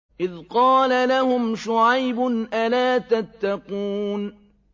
إِذْ قَالَ لَهُمْ شُعَيْبٌ أَلَا تَتَّقُونَ